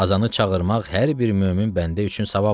Azanı çağırmaq hər bir mömin bəndə üçün savabdır.